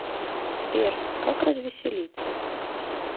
сбер как развеселиться